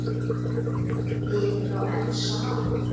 Þið eruð þá enn saman?